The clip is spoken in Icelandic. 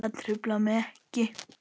Það truflar mig ekki.